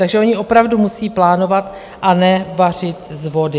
Takže oni opravdu musí plánovat a ne vařit z vody.